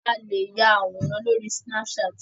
A lè ya àwòrán lóri snapchat.